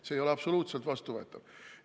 See ei ole absoluutselt vastuvõetav!